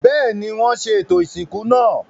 Bẹ́ẹ̀ni, wọ́n ṣe ètò ìsìnkú náà.